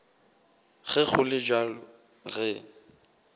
ge go le bjalo re